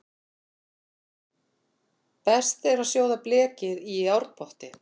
Best er að sjóða blekið í járnpotti.